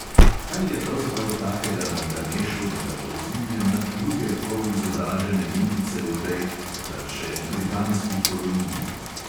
Kaj je pravzaprav takega na ganešu, da ga povzdigne nad druge polizobražene indijce v tej (takrat še) britanski koloniji?